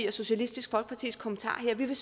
og socialistisk folkepartis kommentarer her vi vil